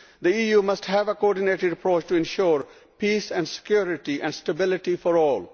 The EU must have a coordinated approach to ensure peace and security and stability for all.